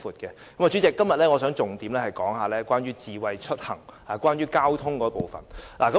代理主席，我今天想重點討論智慧出行，即關於交通的部分。